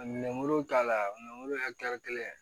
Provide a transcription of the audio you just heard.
Minɛnbolow ta la ye kelen